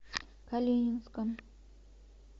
калининском